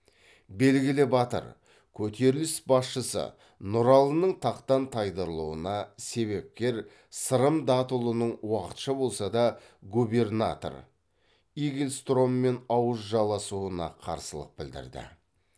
белгілі батыр көтеріліс басшысы нұралының тақтан тайдырылуына себепкер сырым датұлының уақытша болса да губернатор игельстроммен ауыз жаласуына қарсылық білдірді